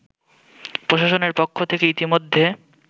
প্রশাসনের পক্ষ থেকে ইতোমধ্যে